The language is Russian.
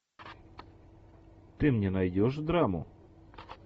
ты мне найдешь драму